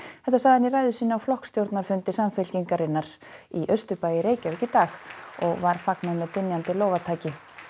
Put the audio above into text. þetta sagði hann í ræðu sinni á flokksstjórnarfundi Samfylkingarinnar í austurbæ í Reykjavík í dag og var fagnað með dynjandi lófataki